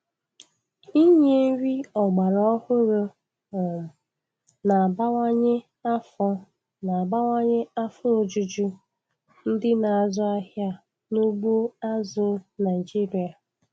Inye nri ọgbaraọhụrụ um na-abawanye afọ na-abawanye afọ ojuju ndị na-azụ ahịa n'ugbo azụ̀ Naịjiria.